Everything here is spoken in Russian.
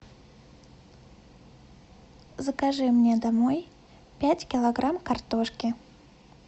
закажи мне домой пять килограмм картошки